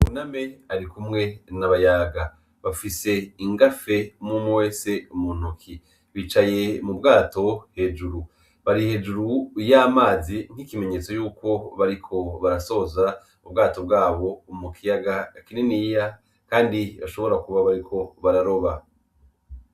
Buname arikumwe na Bayaga bafise ingafe umwumwe wese muntoki bicaye mubwato hejuru, bari hejuru y'amazi nkimenyetso yuko bariko barasoza ubwato bwabo mukiyaga kininiya kandi bashobora kuba bariko bararoba.